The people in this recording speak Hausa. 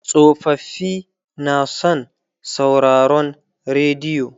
tsofaffi na san sauraron rediyo